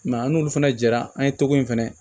Mɛ an n'olu fana jɛra an ye togo in fɛnɛ